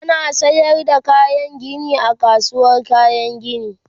ana sayar da kayan Gini a kasuwar kayan Gini